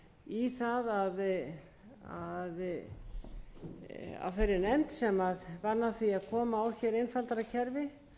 í það að af þeirri nefnd sem vann að því að koma á einfaldara